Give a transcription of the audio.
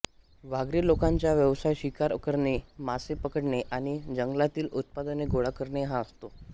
वाघरी लोकांचा व्यवसाय शिकार करणे मासे पकडणे आणि जंगलातील उत्पादने गोळा करणे हा असतो